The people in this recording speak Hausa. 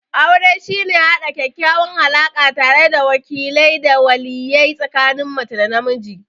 Aure shine haɗa ƙaƙƙawan alaka tare da wakile da waliye tsikanin mace da namiji?